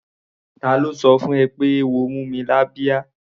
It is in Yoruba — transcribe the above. Ta ló sọ fún ẹ pé eéwo mú mi lábíá?